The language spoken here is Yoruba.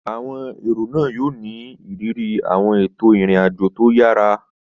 Àwọn èrò yóò ní ìrírí àwọn ètò ìrìn àjò tó yára